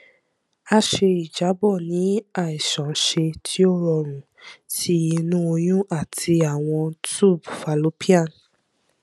a ṣe ijabọ ni aiṣanṣe ti o rọrun ti inu oyun ati awọn tube fallopian